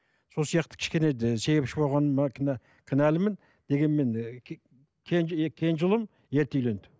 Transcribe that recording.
сол сияқты кішкене себепші болғаныма кінә кінәлімін дегенмен і кенже ұлым ерте үйленді